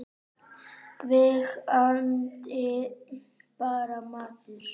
Verandi bara maður.